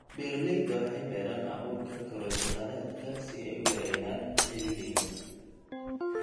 Beeraleyda waxay beeraan abuurka karoti khadadka si ay u yareeyaan ciriiriga.